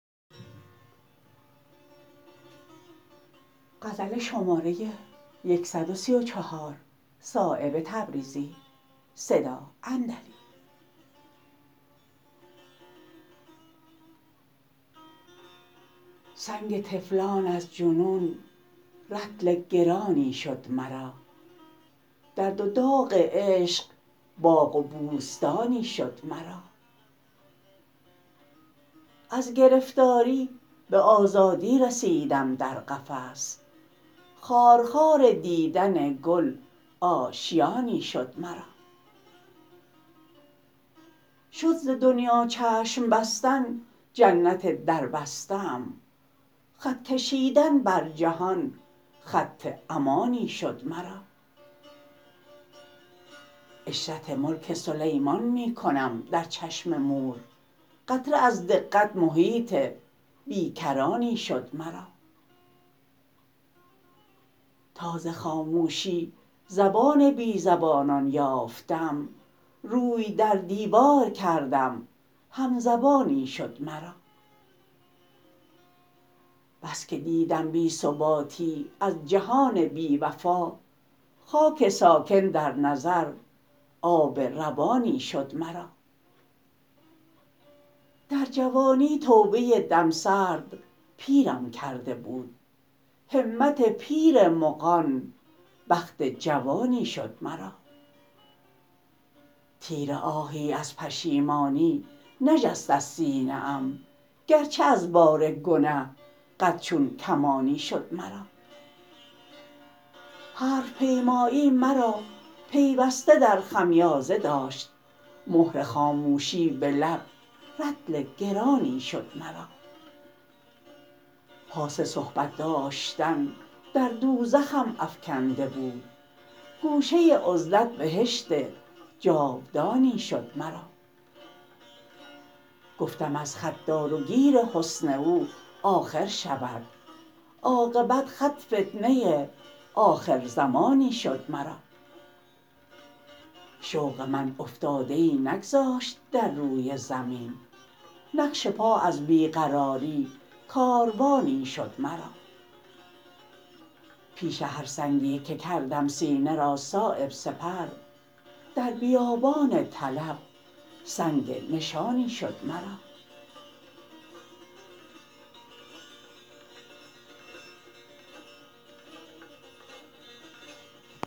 سنگ طفلان از جنون رطل گرانی شد مرا درد و داغ عشق باغ و بوستانی شد مرا از گرفتاری به آزادی رسیدم در قفس خارخار دیدن گل آشیانی شد مرا شد ز دنیا چشم بستن جنت در بسته ام خط کشیدن بر جهان خط امانی شد مرا عشرت ملک سلیمان می کنم در چشم مور قطره از دقت محیط بیکرانی شد مرا تا ز خاموشی زبان بی زبانان یافتم روی در دیوار کردم همزبانی شد مرا بس که دیدم بی ثباتی از جهان بی وفا خاک ساکن در نظر آب روانی شد مرا در جوانی توبه دمسرد پیرم کرده بود همت پیر مغان بخت جوانی شد مرا تیر آهی از پشیمانی نجست از سینه ام گر چه از بار گنه قد چون کمانی شد مرا حرف پیمایی مرا پیوسته در خمیازه داشت مهر خاموشی به لب رطل گرانی شد مرا پاس صحبت داشتن در دوزخم افکنده بود گوشه عزلت بهشت جاودانی شد مرا گفتم از خط دار و گیر حسن او آخر شود عاقبت خط فتنه آخر زمانی شد مرا شوق من افتاده ای نگذاشت در روی زمین نقش پا از بی قراری کاروانی شد مرا پیش هر سنگی که کردم سینه را صایب سپر در بیابان طلب سنگ نشانی شد مرا